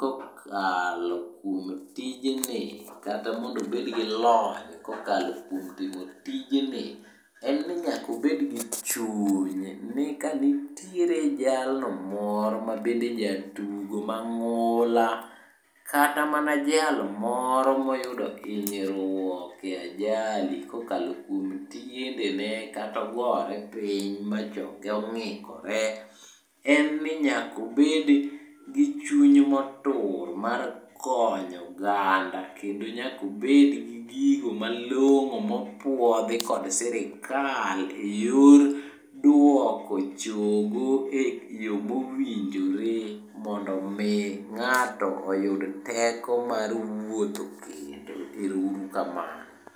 kokalo kuom tijni kata mondo obed gi lony kokalo kuom timo tijni, en ni nyaka obed gi chuny, ni ka nitiere jalno moro mabende jatugo mang'ula, kata mana jal moro moyudo hinyruok e ajali kokalo kuom tiendene kata ogore piny ma chonge ong'ikore. En ni nyaka obed gi chuny motur mar konyo oganda. Kendo nyaka obed gi gigo malong'o mopuodhi kod sirikal e yor duoko chogo e yo mowinjore mondo omi ng'ato oyud teko mar wuotho kendo. Ero uru kamano.